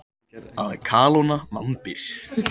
Að kalóna vambir.